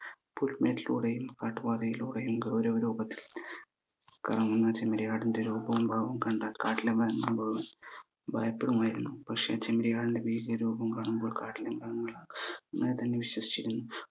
പുൽമേട്ടിലൂടെയും കാട്ടുപാതയിലൂടെയും ഗൗരവ രൂപത്തിൽ കറങ്ങുന്ന ചെമ്മരിയാടിന്റെ രൂപവും ഭാവവും കണ്ടാൽ കാട്ടിലെ മൃഗങ്ങൾ മുഴുവൻ ഭയപ്പെടുമായിരുന്നു പക്ഷെ ചെമ്മരിയാടിന്റെ വീര്യ രൂപം കാണുമ്പോൾ കാട്ടിലെ മൃഗങ്ങൾ തന്നെ വിശ്വസിച്ചിരുന്നു